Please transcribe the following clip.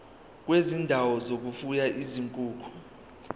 kwezindawo zokufuya izinkukhu